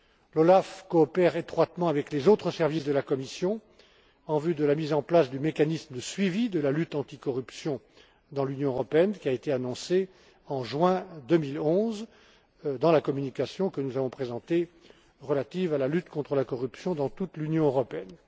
L'OLAF coopère, étroitement, avec les autres services de la Commission, en vue de la mise en place du mécanisme de suivi de la lutte anticorruption au sein de l'Union européenne, qui a été annoncée en juin 2011, dans la communication que nous avons présentée, relative à la lutte contre la corruption dans toute l'Union européenne.